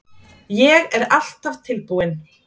Ég er alltaf tilbúinn.